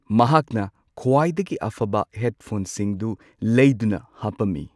ꯃꯍꯥꯛꯅ ꯈ꯭ꯋꯥꯏꯗꯒꯤ ꯑꯐꯕ ꯍꯦꯗꯐꯣꯟꯁꯤꯡꯗꯨ ꯂꯩꯗꯨꯅ ꯍꯥꯞꯄꯝꯃꯤ꯫